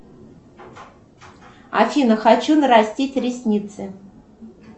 афина хочу нарастить ресницы